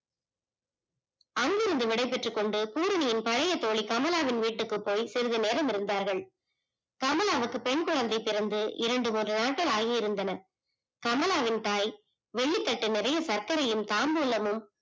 அங்கிருந்து விடைபெற்றுக்கொண்டு புரணியின் பழைய தோழி கமலாவின் வீட்டுக்கு போய் சிறிது நேரம் இருந்தார்கள், கமலாவுக்கு பெண் குழந்தை பிறந்து இரண்டு முன்று நாட்கள் ஆகிருந்தன. கமலாவின் தாய் வெள்ளி தட்டு நிறைய பத்திரையும் தாம்பூலமும்